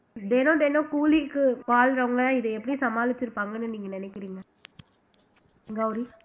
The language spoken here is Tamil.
தெனம் தெனம் கூலிக்கு வாழ்றவங்க இதை எப்படி சமாளிச்சு இருப்பாங்கன்னு நீங்க நினைக்கிறீங்க கௌரி